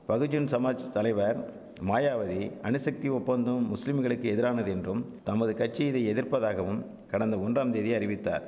பகுஜன் சமாஜ் தலைவர் மாயாவதி அணுசக்தி ஒப்பந்தம் முஸ்லிம்களுக்கு எதிரானது என்றும் தமது கட்சி இதை எதிர்ப்பதாகவும் கடந்த ஒனறாம் தேதி அறிவித்தார்